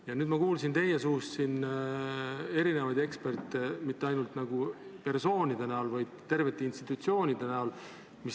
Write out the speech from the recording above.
Ja nüüd ma kuulsin teid nimetavat erinevaid eksperte, ning mitte ainult persoone, vaid terveid institutsioone.